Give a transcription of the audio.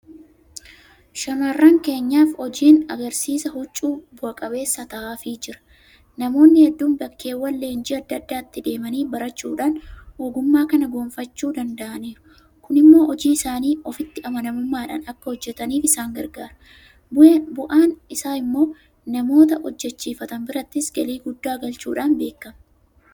Shaamarran keenyaaf hojiin agarsiisa huccuu bu'a qabeessa ta'aafii jira. Namoonni heedduun bakkeewwan leenjii adda addaatti deemanii barachuudhaan ogummaa kana goonfachuu danda'aniiru. Kun immoo hojii isaanii ofitti amanamummaadhaan akka hojjetaniif isaan gargaareera. Bu'aan isaa immoo namoota hojjechiifatan birattis galii guddaa galchuudhaan beekama.